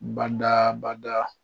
Bada bada